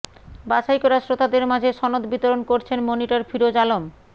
বাছাই করা শ্রোতাদের মাঝে সনদ বিতরণ করছেন মনিটর ফিরোজ আলম